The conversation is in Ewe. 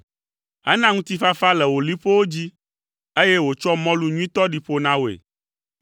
Ena ŋutifafa le wò liƒowo dzi, eye wòtsɔ mɔlu nyuitɔ ɖi ƒo na wòe.